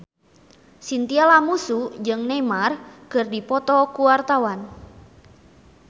Chintya Lamusu jeung Neymar keur dipoto ku wartawan